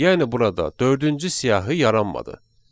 Yəni burada dördüncü siyahı yaranmadı.